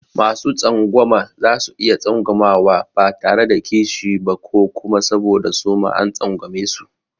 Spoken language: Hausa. Masu tsangwama za su iya tsangwama ba tare da kishi ba ko kuma saboda suma an tsangwamesu.